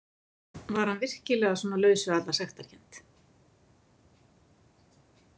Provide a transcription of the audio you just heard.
Var hann virkilega svona laus við alla sektarkennd?